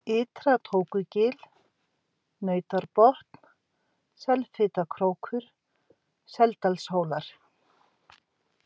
Ytra-Tókugil, Nautárbotn, Selfitakrókur, Seldalshólar